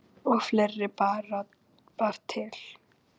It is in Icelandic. Og fleira bar til.